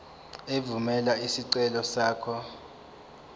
evumela isicelo sakho